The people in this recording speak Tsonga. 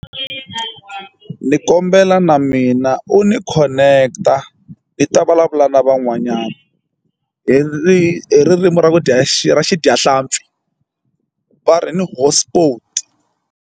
Ni kombela na mina u ni connect-a ni ta vulavula na van'wanyana hi ririmi ra ku dya ra xidyahlampfi va ri ni hotspot.